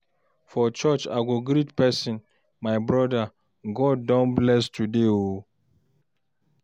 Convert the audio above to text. For church, I go greet person, "My brother, God don bless today oo!"